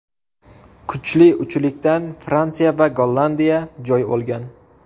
Kuchli uchlikdan Fransiya va Gollandiya joy olgan.